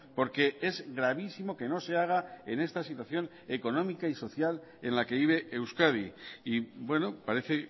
porque es gravísimo que no se haga en esta situación económica y social en la que vive euskadi y bueno parece